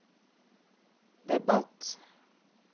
debatt